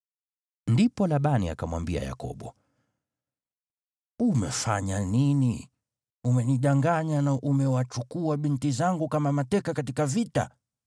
Ndipo Labani akamwambia Yakobo, “Umefanya nini? Umenidanganya na umewachukua binti zangu kama mateka katika vita.